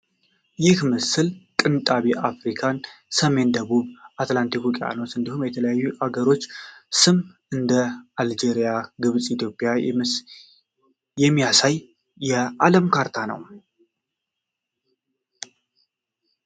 ይህ የምስል ቅንጣቢ አፍሪካን፣ ሰሜንና ደቡብ አትላንቲክ ውቅያኖስን እንዲሁም የተለያዩ የአገሮችን ስም (እንደ አልጄሪያ፣ ግብፅና ኢትዮጵያ) የሚያሳይ የዓለም ካርታ ነው?